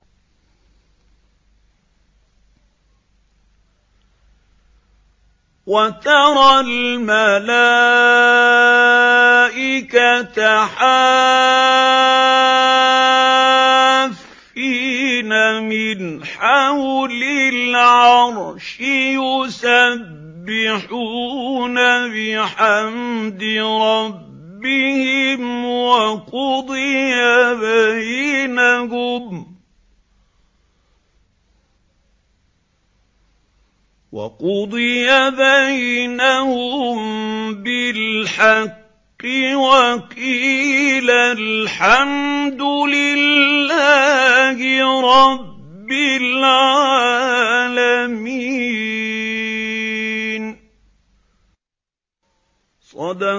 وَتَرَى الْمَلَائِكَةَ حَافِّينَ مِنْ حَوْلِ الْعَرْشِ يُسَبِّحُونَ بِحَمْدِ رَبِّهِمْ ۖ وَقُضِيَ بَيْنَهُم بِالْحَقِّ وَقِيلَ الْحَمْدُ لِلَّهِ رَبِّ الْعَالَمِينَ